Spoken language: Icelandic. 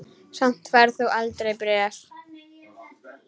Samt færð þú aldrei bréf.